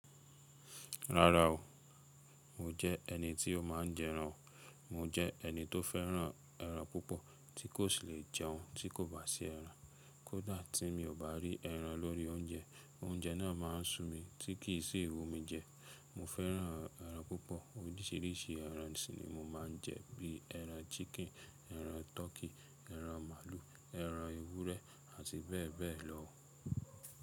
Rárá o, mò jẹ́ ẹni tí ó má ń jẹran o. Mò jẹ́ ẹni tó fẹ́ràn ẹran púpọ̀ tí kò sì lè jẹun tí kò bá sí ẹran. Kódà tí mi ò bá rí ẹran lórí oúnjẹ, oúnjẹ náà má ń sú mi tí kì í sì íwù mi jẹ. Mo fẹ́ràn ẹran púpọ̀. Oríṣìíríṣìí ẹran si ni mo má ń jẹ bí ẹran ṣíkìn, ẹran tọkí, ẹran màlúù, ẹran ewúrẹ́ àti bẹ́ẹ̀ bẹ́ẹ̀ lọ.